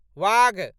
वाघ